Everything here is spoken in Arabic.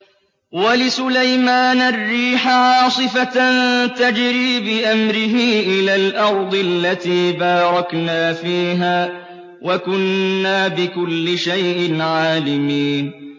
وَلِسُلَيْمَانَ الرِّيحَ عَاصِفَةً تَجْرِي بِأَمْرِهِ إِلَى الْأَرْضِ الَّتِي بَارَكْنَا فِيهَا ۚ وَكُنَّا بِكُلِّ شَيْءٍ عَالِمِينَ